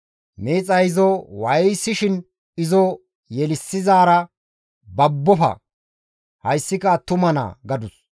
Miixay izo waayisiin izo yelissizaara, «Babbofa; hayssika attuma naa» gadus.